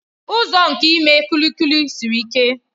Ụzọ nke ime kulikuli siri ike.